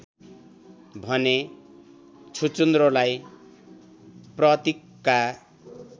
भने छुचुन्द्रोलाई प्रतिकका